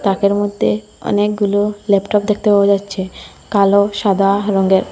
তাকের মধ্যে অনেকগুলো ল্যাপটপ দেখতে পাওয়া যাচ্ছে কালো সাদা রঙ্গের।